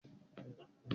Báyọ̀ lọ sí ẹ̀wọ̀n